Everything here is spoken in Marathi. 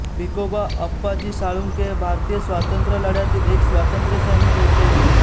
भिकोबा आप्पाजी साळुंखे हे भारतीय स्वातंत्र्यलढ्यातील एक स्वातंत्र्यसैनिक होते